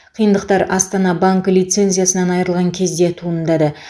қиындықтар астана банкі лицензиясынан айырылған кезде туындады